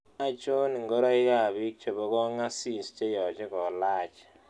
Achon ingoroikap biik chebo kong'asis cheyoche kolach